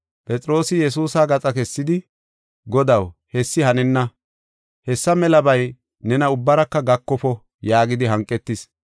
Phexroosi Yesuusa gaxa kessidi, “Godaw, hessi hanenna! Hessa melabay nena ubbaraka gakofo!” yaagidi hanqetis.